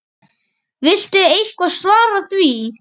Viltu eitthvað svara því?